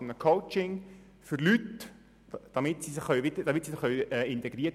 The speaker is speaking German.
Sie sind es, die über die SKOS-Richtlinien entscheiden.